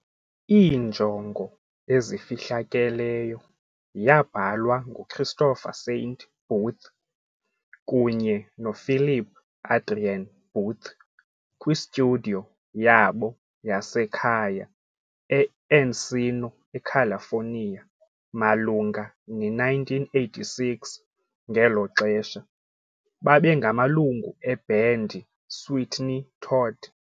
"Iinjongo ezifihlakeleyo" yabhalwa nguChristopher Saint Booth kunye noPhilip Adrian Booth kwi-studio yabo yasekhaya e-Encino, eCalifornia, malunga ne-1986, ngelo xesha, babengamalungu ebhendi Sweeney Todd.